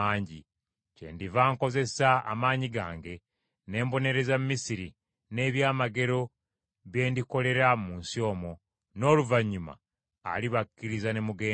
Kyendiva nkozesa amaanyi gange, ne mbonereza Misiri n’ebyamagero bye ndikolera mu nsi omwo; n’oluvannyuma alibakkiriza ne mugenda.